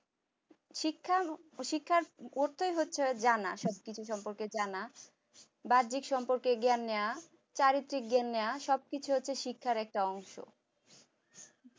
শিক্ষা শিক্ষার পড়তেই হচ্ছে জানা সবকিছু সম্পর্কে জানা বাহ্যিক সম্পর্কে জ্ঞান নেয়া চারিত্রিক জ্ঞান নেয়া সবকিছু হচ্ছে শিক্ষার একটা অংশ